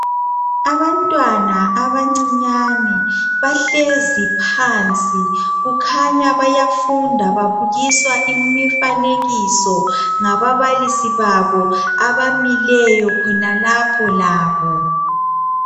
Abantwana abancinyane bahlezi phansi kukhanya bayafunda babukiswa imifanekiso ngababalisi babo abamileyo khonalapho labo